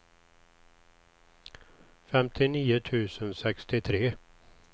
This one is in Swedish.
femtionio tusen sextiotre